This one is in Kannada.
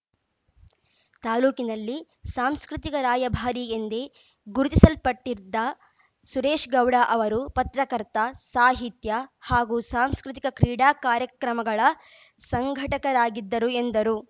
ತಾಲೂಕಿನಲ್ಲಿ ಸಾಂಸ್ಕೃತಿಕ ರಾಯಭಾರಿ ಎಂದೇ ಗುರುತಿಸಲ್ಪಟ್ಟಿದ್ದ ಸುರೇಶ್‌ಗೌಡ ಅವರು ಪತ್ರಕರ್ತ ಸಾಹಿತ್ಯ ಹಾಗೂ ಸಾಂಸ್ಕೃತಿಕ ಕ್ರೀಡಾ ಕಾರ್ಯಕ್ರಮಗಳ ಸಂಘಟಕರಾಗಿದ್ದರು ಎಂದರು